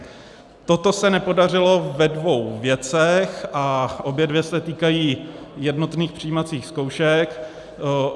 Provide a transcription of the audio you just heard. Toto se nepodařilo ve dvou věcech a obě dvě se týkají jednotných přijímacích zkoušek.